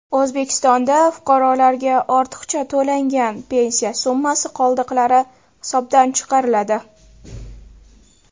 O‘zbekistonda fuqarolarga ortiqcha to‘langan pensiya summasi qoldiqlari hisobdan chiqariladi.